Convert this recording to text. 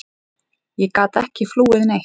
Ég gat ekki flúið neitt.